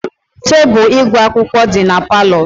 Tebụl ịgụ akwụkwọ dị na palọ.